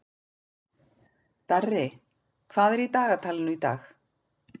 Darri, hvað er í dagatalinu í dag?